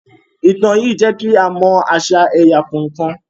Ìtàn yìí jẹ́ kí a mọ àṣà ẹ̀yà kọ̀ọ̀kan